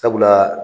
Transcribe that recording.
Sabula